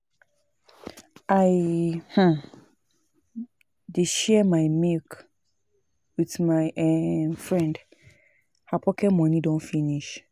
I um dey share my milk wit my um friend, her pocket moni don finish.